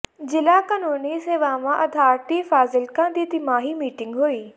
ਜ਼ਿਲ੍ਹਾ ਕਾਨੂੰਨੀ ਸੇਵਾਵਾਂ ਅਥਾਰਟੀ ਫਾਜ਼ਿਲਕਾ ਦੀ ਤਿਮਾਹੀ ਮੀਟਿੰਗ ਹੋਈ